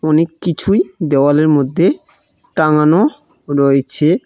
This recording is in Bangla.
অনেক কিছুই দেওয়ালের মধ্যে টাঙ্গানো রয়েছে।